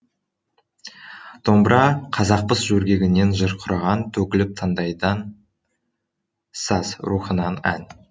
домбыра қазақпыз жөргегінен жыр құраған төгіліп таңдайдан саз рухынан ән